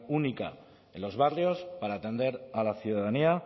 única en los barrios para atender a la ciudadanía